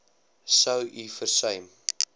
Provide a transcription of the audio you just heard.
sou u versuim